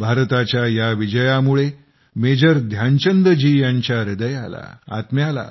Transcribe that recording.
भारताच्या या विजयामुळं मेजर ध्यानचंद जी यांच्या हृदयाला आत्म्याला